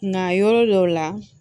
Nka yɔrɔ dɔw la